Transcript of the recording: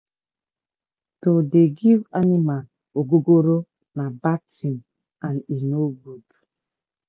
to dey give animal ogogoro na bad tin and e no good